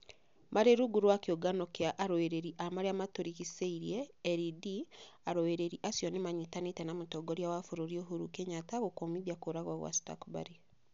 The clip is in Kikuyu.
Marĩ rungũ rwa kĩungano kia arũĩrĩri a marĩa ma tũrigicĩire (LED), arũĩrari acio nĩ manyitanĩire na Mũtongoria wa bũrũri ũhuru Kenyatta gũkũmithia kũragwo kwa Stuchburry.